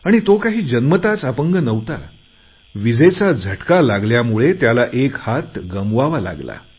आणि तो काही जन्मताच अपंग नव्हता विजेचा झटका लागल्यामुळे त्याला एक हात गमवावा लागला